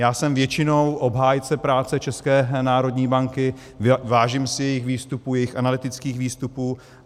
Já jsem většinou obhájcem práce České národní banky, vážím si jejích výstupů, jejích analytických výstupů.